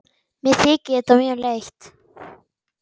Mér þykir þetta mjög leitt.